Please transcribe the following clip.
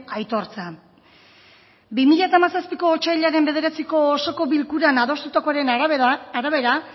aitortza bi mila hamazazpiko otsailaren bederatziko osoko bilkuran adostutakoaren arabera